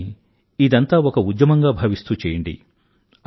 కానీ ఇదంతా ఒక ఉద్యమంగా భావిస్తూ చేయండి